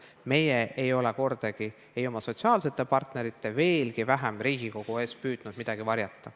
Meie ei ole kordagi ei oma sotsiaalsete partnerite, veel vähem Riigikogu eest püüdnud midagi varjata.